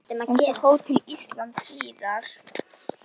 Eins á Hótel Íslandi síðar.